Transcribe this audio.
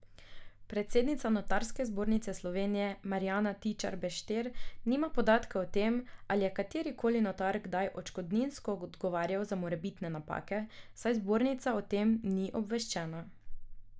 Predsednica Notarske zbornice Slovenije Marjana Tičar Bešter nima podatka o tem, ali je kateri koli notar kdaj odškodninsko odgovarjal za morebitne napake, saj zbornica o tem ni obveščena.